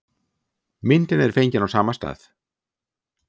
Myndin er fengin á sama stað.